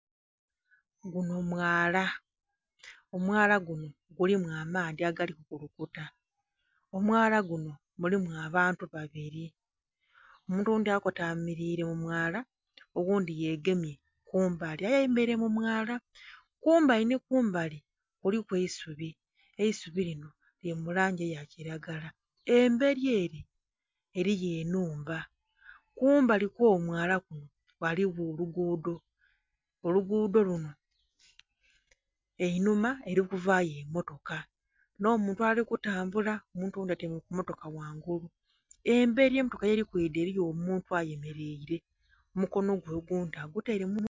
Gunho mwaala omwaala guno gulimu amaadhi agali kukulukuta omwaala ghuno mulimu abantu babiri, omuntu oghundhi akotamirire mu mwaala ogundhi yegemye kumbali aye ayemereire mu mwaala kumbali nhi kumbali kuliku eisubi eisubi linho lili mu langi eya kilagala emberi ere eriyo enhumba. Kumbali kwo mwaala kuno ghaligho olugudho, olugudho lunho einhuma erikuvayo emotoka enho muntu oghundhi ali ku tambula omuntu oghundhi atyaime ku motoka ghangulu eri emotoka yeri kwidha eriyo omuntu ayemereire omukono gwe ogundhi agutaire mu......